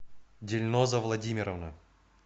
дильноза владимировна